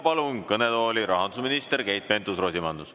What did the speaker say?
Palun kõnetooli rahandusminister Keit Pentus-Rosimannuse.